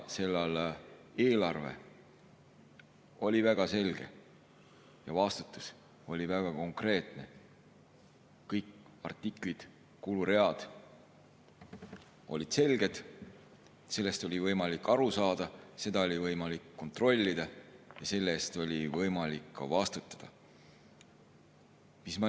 Sel ajal oli eelarve väga selge ja vastutus oli väga konkreetne, kõik artiklid, kuluread olid selged, nendest oli võimalik aru saada, neid oli võimalik kontrollida ja nende eest oli võimalik ka vastutada.